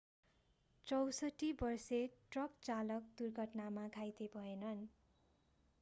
64 वर्षे ट्रक चालक दुर्घटनामा घाइते भएनन्